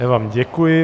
Já vám děkuji.